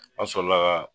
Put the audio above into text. An sɔrɔla ka